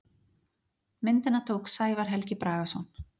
Myndina tók Sævar Helgi Bragason.